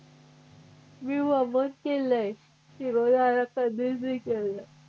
मी वमन केलय शिरोधारा कधीच नाही केलं.